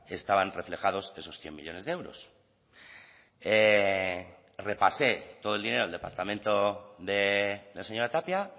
estaban reflejados esos cien millónes de euros repasé todo el dinero el departamento de la señora tapia